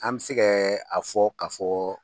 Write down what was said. An mi se kɛ a fɔ ka fɔ